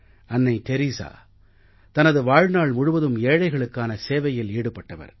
அன்னை தெரஸா தனது வாழ்நாள் முழுவதும் ஏழைகளுக்கான சேவையில் ஈடுபட்டவர்